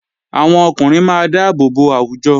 Àwọn ọkùnrin máa dáàbò bo àwùjọ